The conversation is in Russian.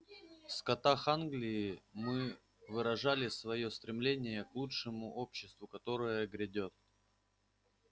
в скотах англии мы выражали своё стремление к лучшему обществу которое грядёт